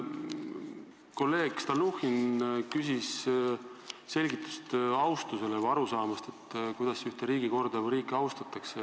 Kolleeg Stalnuhhin küsis selgitust arusaamise kohta, kuidas ühte riigikorda või riiki austatakse.